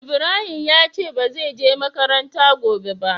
Ibrahim ya ce ba ze je makaranta gobe ba.